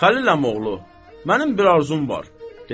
Xəlil əmioğlu, mənim bir arzum var.